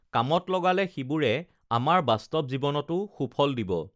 কামত লগালে সিবোৰে আমাৰ বাস্ত‌ৱ জী‌ৱনতো সুফল দিব